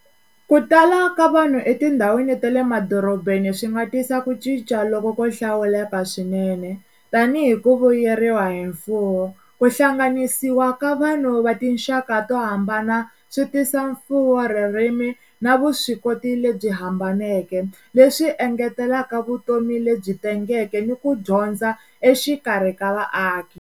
Ku tala ka vanhu etindhawini ta le madorobeni swi nga tisa ku cinca loko ko hlawuleka swinene tanihi ku vuyeriwa hi mfuwo, ku hlanganisiwa ka vanhu va tinxaka to hambana swi tisa mfuwo, ririmi na vuswikoti lebyi hambaneke leswi engeteleka vutomi lebyi tengeke ni ku dyondza exikarhi ka vaaki.